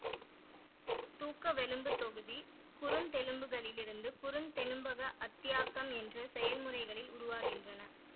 தூக்கவெலும்புத் தொகுதி குருந்தெலும்புகளிலிருந்து குறுந்தெலும்பக அத்தியாக்கம் என்ற செயல்முறையில் உருவாகின்றன